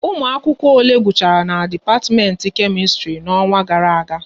Ụmụ akwụkwọ ole gusiri akwụkwọ na dipatiment Kemistri n'ọnwa gara aga